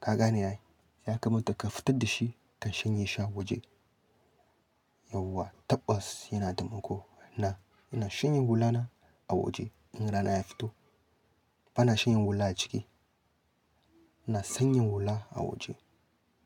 Ka gane yayi? Yakamata ka fitar da shi ka shanye shi a waje. Yauwa tabbas yana tamako. Na, ina shanyen hula na a waje in rana ya fito. Ba na shanyen hula a ciki. Ina shanyen hula a waje.